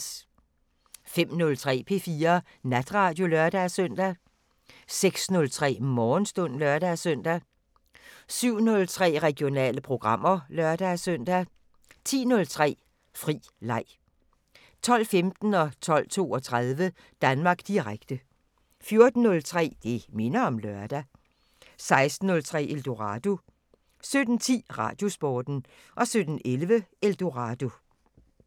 05:03: P4 Natradio (lør-søn) 06:03: Morgenstund (lør-søn) 07:03: Regionale programmer (lør-søn) 10:03: Fri leg 12:15: Danmark Direkte 12:32: Danmark Direkte 14:03: Det minder om lørdag 16:03: Eldorado 17:10: Radiosporten 17:11: Eldorado